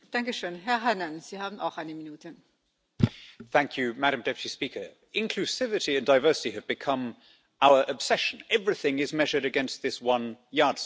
Madam President, inclusivity and diversity have become our obsession. Everything is measured against this one yardstick, so that it becomes the primary purpose of every institution.